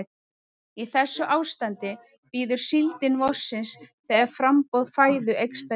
Í þessu ástandi bíður síldin vorsins þegar framboð fæðu eykst að nýju.